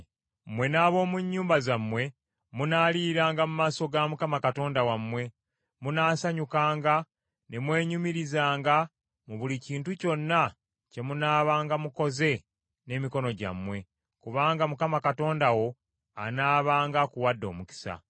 Mmwe n’ab’omu nnyumba zammwe munaaliiranga mu maaso ga Mukama Katonda wammwe, munaasanyukanga ne mwenyumirizanga mu buli kintu kyonna kye munaabanga mukoze n’emikono gyammwe, kubanga Mukama Katonda wo anaabanga akuwadde omukisa.